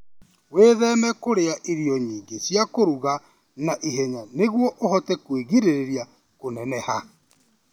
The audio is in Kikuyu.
Wĩtheme kũrĩa irio nyingĩ cia kũruga na ihenya nĩguo ũhote kwĩgirĩrĩria kũneneha.